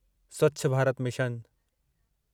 Swachh Bharat mission